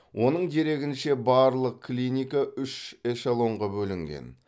оның дерегінше барлық клиника үш эшелонға бөлінген